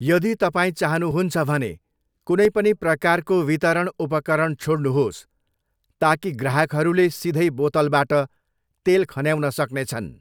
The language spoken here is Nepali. यदि तपाईँ चाहनुहुन्छ भने, कुनै पनि प्रकारको वितरण उपकरण छोड्नुहोस् ताकि ग्राहकहरूले सिधै बोतलबाट तेल खन्याउन सक्नेछन्।